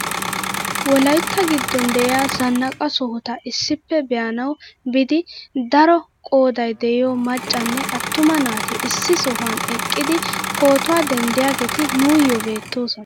Wolayttagiddon de'iyaa zannaqa sohota issippe be'anawu biida daro qooday de'iyoo maccanne attuma naati issi sohuwaan eqidi pootuwaa denddiyaageti nuuyoo beettosona!